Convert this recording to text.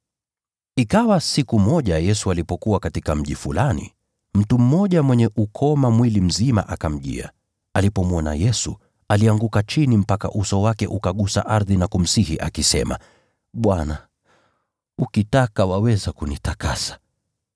Ikawa siku moja Yesu alipokuwa katika mji fulani, mtu mmoja mwenye ukoma mwili mzima akamjia. Alipomwona Yesu, alianguka chini mpaka uso wake ukagusa ardhi, akamsihi akisema, “Bwana, ukitaka, waweza kunitakasa.”